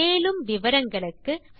மேற்கொண்டு விவரங்கள் வலைத்தளத்தில் கிடைக்கும்